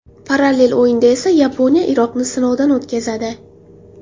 Parallel o‘yinda esa Yaponiya Iroqni sinovdan o‘tkazadi.